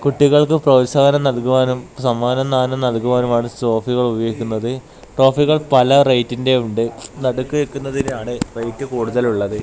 കുട്ടികൾക്ക് പ്രോത്സാഹനം നൽകുവാനും സമ്മാനദാനം നൽകുവാനും ആണ് ട്രോഫികൾ ഉപയോഗിക്കുന്നത് ട്രോഫികൾ പല റേറ്റിന്റെ ഉണ്ട് നടുക്ക് നിൽക്കുന്നതിനാണ് റേറ്റ് കൂടുതൽ ഉള്ളത്.